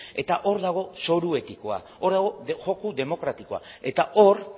eta hor dago zoru etikoa hor dago joko demokratikoa eta hor